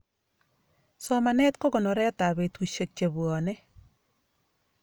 somanet kokonoret ap betusiek chepwoni